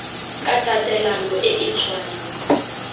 ka tatelano e e tshwanang